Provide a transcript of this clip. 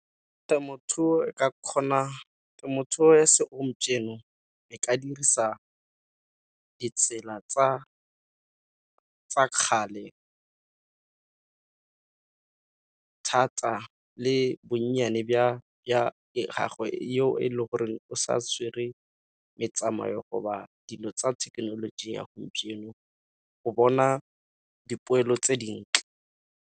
Ke temothuo e ka kgona, temothuo ya segompieno e ka dirisa ditsela tsa kgale, thata le bonnyane gagwe eo e leng gore o sa tshwere metsamayo go ba dilo tsa thekenoloji ya gompieno go bona dipoelo tse dintle.